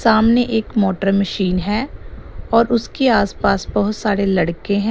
सामने एक motor machine है और उसके आसपास बहुत सारे लड़के हैं।